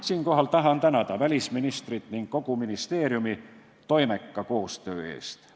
Siinkohal tahan tänada välisministrit ning kogu ministeeriumi toimeka koostöö eest.